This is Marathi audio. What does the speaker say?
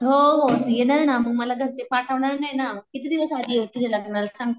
हो हो मग मला येणार ना, मग मला घरचे पाठवणार नाही ना. किती दिवस साठी येऊ तुझ्या लग्नाला सांग.